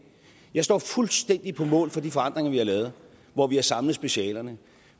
jeg står fuldstændig på mål for de forandringer vi har lavet hvor vi har samlet specialerne